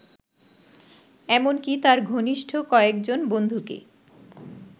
এমনকি তার ঘনিষ্ঠ কয়েকজন বন্ধুকে